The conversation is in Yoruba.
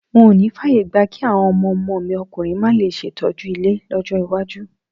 N ò níí fààyè gba kí àwọn ọmọ ọmọ mi ọkùnrin máa le ṣètọ́jú ilé lọ́jọ́ iwájú.